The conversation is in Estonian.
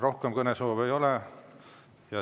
Rohkem kõnesoove ei ole.